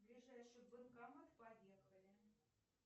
ближайший банкомат поехали